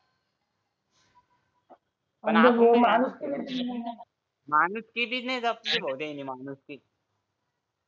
पण आता माणुसकी भी नाही जपली त्यांनी माणुसकी